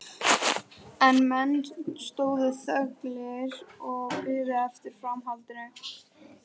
En menn stóðu þöglir og biðu eftir framhaldinu.